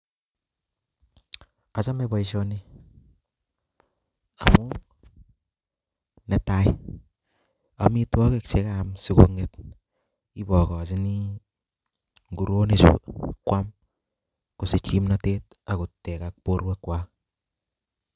Achame boisioni amuu, ne tai amitwogik che kaam asikong'et ibokochini nguronik chuu kwaam, kosich kimnatet agotegak borwek kwaak